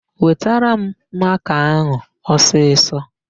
Wetara m makaa áhụ̀ ọsisọ!